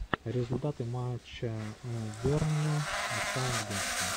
результаты матча бернли саутгемптон